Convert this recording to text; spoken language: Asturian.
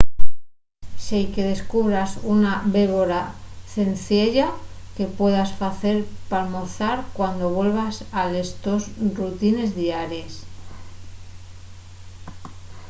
seique descubras una bébora cenciella que puedas facer p’almorzar cuando vuelvas a les tos rutines diaries